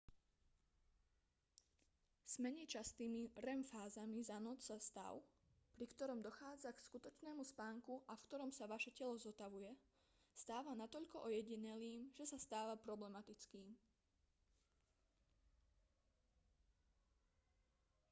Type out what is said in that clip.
s menej častými rem fázami za noc sa stav pri ktorom dochádza k skutočnému spánku a v ktorom sa vaše telo zotavuje stáva natoľko ojedinelým že sa stáva problematickým